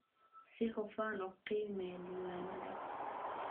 Si hufan u qiimee diiwaannadaada.